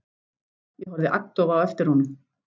Ég horfði agndofa á eftir honum.